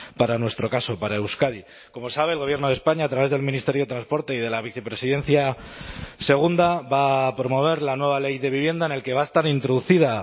para nuestro caso para euskadi como sabe el gobierno de españa a través del ministerio de transporte y de la vicepresidencia segunda va a promover la nueva ley de vivienda en el que va a estar introducida